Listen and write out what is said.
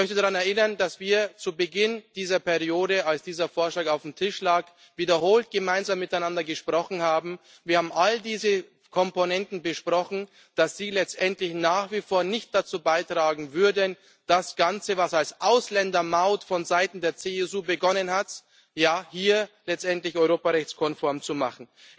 Ich möchte daran erinnern, dass wir zu Beginn dieser Periode, als dieser Vorschlag auf dem Tisch lag, wiederholt miteinander gesprochen haben. Wir haben all diese Komponenten besprochen, dass sie letztendlich nach wie vor nicht dazu beitragen würden, das Ganze, was als Ausländermaut vonseiten der CSU begonnen hat, hier letztendlich europarechtskonform zu machen.